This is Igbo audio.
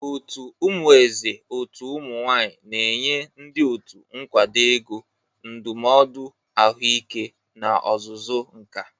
Otu "Umueze Òtù Ụmụ nwanyị" na-enye ndị otu nkwado ego, ndụmọdụ ahụike na ọzụzụ nka.